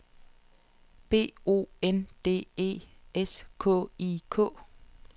B O N D E S K I K